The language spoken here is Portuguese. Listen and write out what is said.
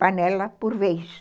panela por vez.